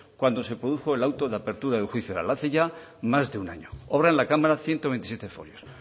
cuando se produjo el auto de apertura del juicio hace ya más de un año obran en la cámara ciento veintisiete folios